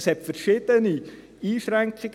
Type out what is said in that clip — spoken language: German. Es gab verschiedene Einschränkungen.